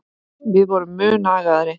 Við vorum mun agaðri.